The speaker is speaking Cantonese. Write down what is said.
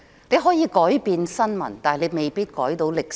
你可以改變新聞，但你未必能改寫歷史。